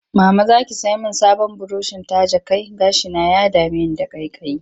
Mama za ki sai min sabon burushin taje kai? Gashina ya dame ni da ƙaiƙayi